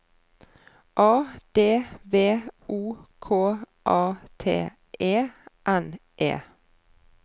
A D V O K A T E N E